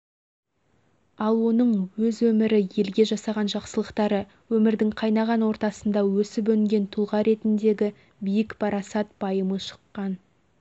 ал оның өз өмірі елге жасаған жақсылықтары өмірдің қайнаған ортасында өсіп-өнген тұлға ретіндегі биік парасат-пайымы шыққан